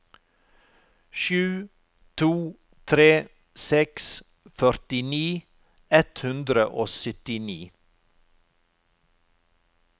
sju to tre seks førtini ett hundre og syttini